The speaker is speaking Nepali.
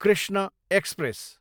कृष्ण एक्सप्रेस